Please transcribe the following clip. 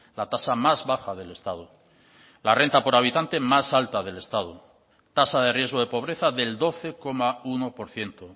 la tasa más baja del estado la renta por habitante más alta del estado tasa de riesgo de pobreza del doce coma uno por ciento